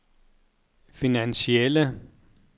finansielle